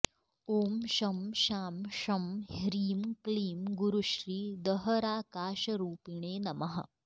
ॐ शं शां षं ह्रीं क्लीं गुरुश्री दहराकाशरूपिणे नमः